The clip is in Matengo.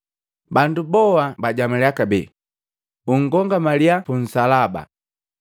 Bandu boa bajamalya kabee, “Unkomangalya punsalaba!”